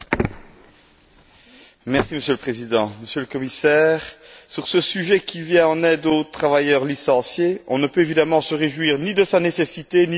Monsieur le Président, Monsieur le Commissaire, sur ce sujet d'un Fonds qui vient en aide aux travailleurs licenciés, on ne peut évidemment se réjouir ni de sa nécessité, ni de son succès grandissant.